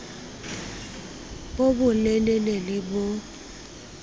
bo bo lelele le bo